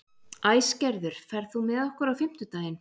Æsgerður, ferð þú með okkur á fimmtudaginn?